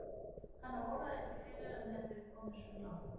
Hana óraði ekki fyrir að hann hefði verið kominn svona langt.